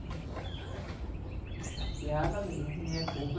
Estou chateada mesmo, nem é pouco.